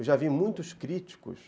Eu já vi muitos críticos...